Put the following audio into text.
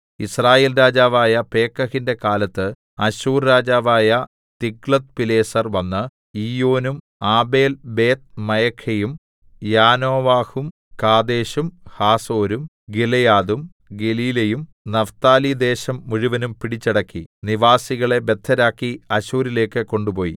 യിസ്രായേൽ രാജാവായ പേക്കഹിന്റെ കാലത്ത് അശ്ശൂർ രാജാവായ തിഗ്ലത്ത്പിലേസർ വന്ന് ഈയോനും ആബേൽബേത്ത്മയഖയും യാനോവഹും കാദേശും ഹാസോരും ഗിലെയാദും ഗലീലയും നഫ്താലിദേശം മുഴുവനും പിടിച്ചടക്കി നിവാസികളെ ബദ്ധരാക്കി അശ്ശൂരിലേക്ക് കൊണ്ടുപോയി